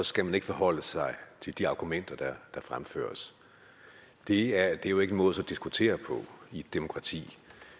skal man ikke forholde sig til de argumenter der fremføres det er jo ikke en måde at diskutere på i et demokrati